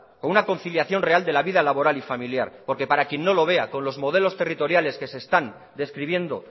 con una conciliación real de la vida laboral y familiar porque para quien no lo vea con los modelos territoriales que se están describiendo